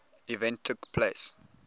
event took place